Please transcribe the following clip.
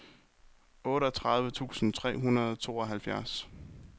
otteogtredive tusind tre hundrede og tooghalvfjerds